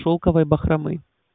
шелковой бахромы